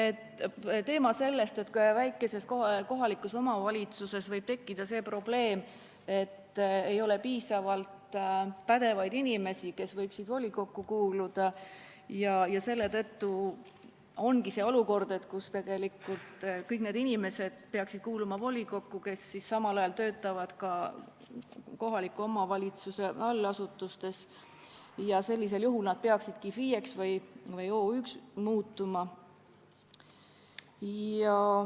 Ta rääkis sellest, et väikeses kohalikus omavalitsuses võib tekkida see probleem, et ei ole piisavalt pädevaid inimesi, kes võiksid volikokku kuuluda, ja selle tõttu ongi tekkinud see olukord, kus tegelikult peaksid volikokku kuuluma kõik need inimesed, kes samal ajal töötavad kohaliku omavalitsuse allasutustes, ning sellisel juhul nad peaksidki FIE või OÜ vormi kasutama.